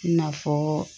I n'a fɔ